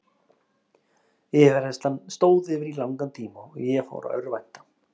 Yfirheyrslan stóð yfir í langan tíma og ég fór að örvænta.